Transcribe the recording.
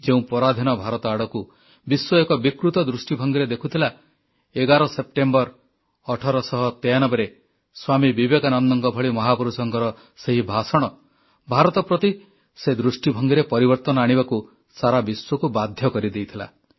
ଯେଉଁ ପରାଧୀନ ଭାରତ ଆଡ଼କୁ ବିଶ୍ୱ ଏକ ବିକୃତ ଦୃଷ୍ଟିଭଙ୍ଗୀରେ ଦେଖୁଥିଲା 11 ସେପ୍ଟେମ୍ବର 1893ରେ ସ୍ୱାମୀ ବିବେକାନନ୍ଦଙ୍କ ଭଳି ମହାପୁରୁଷଙ୍କର ସେହି ଭାଷଣ ଭାରତ ପ୍ରତି ସେହି ଦୃଷ୍ଟିଭଙ୍ଗୀରେ ପରିବର୍ତ୍ତନ ଆଣିବାକୁ ସାରା ବିଶ୍ୱକୁ ବାଧ୍ୟ କରିଦେଇଥିଲା